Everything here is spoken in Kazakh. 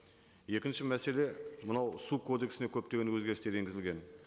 екінші мәселе мынау су кодексіне көптеген өзгерістер енгізілген